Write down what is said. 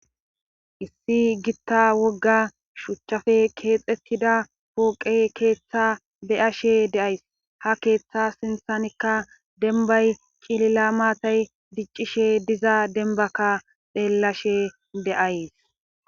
Issi gitta wogga shuchchappe keexettida pooqe keeththa beyashe de'as. ha keeththa sinththankka denbbay cilila maatay diccishe diza denbbakka xeellashe de'as.